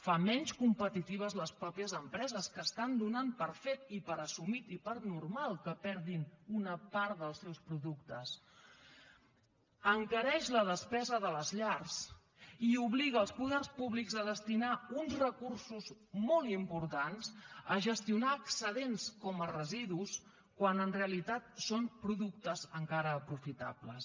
fa menys competitives les mateixes empreses que donen per fet i per assumit i per normal que perdin una part dels seus productes encareix la despesa de les llars i obliga els poders públics a destinar uns recursos molt importants a gestionar excedents com a residus quan en realitat són productes encara aprofitables